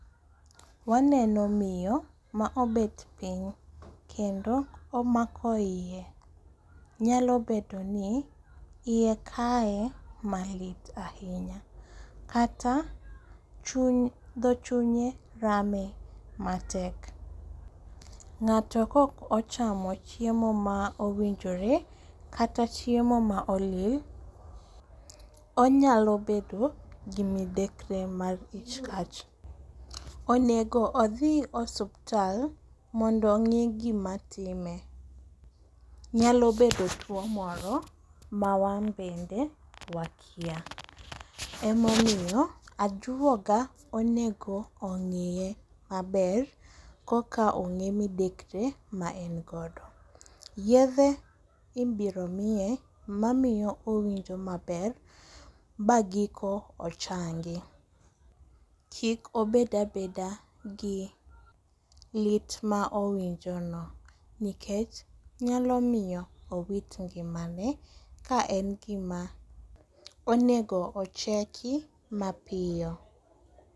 Waneno miyo ma obet piny, kendo omako iye, nyalo bedo iye kaye malit ahinya kata dho chunye rame matek. Ng'ato kok ochamo chiemo ma owinjore kata chiemo ma olil, onyalo bedo gi midekre mar ich kach. Onego odhi osuptal mondo ong'i gimatime, nyalo bedo tuwo moro ma wan bende wakia. Emomiyo ajuoga onego ong'iye maber koka ong'e midekre ma en godo. Yedhe ibiro miye mamiyo owinjo maber ba giko ochangi, kik obed abeda gi lit ma owinjono, nikech nyalo miyo owit ngimane ka en gima onego ocheki mapiyo.